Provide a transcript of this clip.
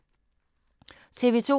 TV 2